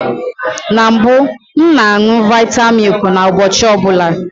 Na mbụ, m na añụ vita milk ụbọchị ọbụla